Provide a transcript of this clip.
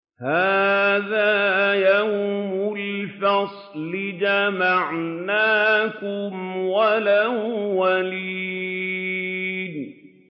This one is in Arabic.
هَٰذَا يَوْمُ الْفَصْلِ ۖ جَمَعْنَاكُمْ وَالْأَوَّلِينَ